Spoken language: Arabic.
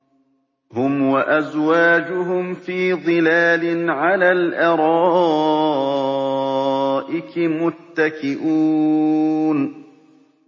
هُمْ وَأَزْوَاجُهُمْ فِي ظِلَالٍ عَلَى الْأَرَائِكِ مُتَّكِئُونَ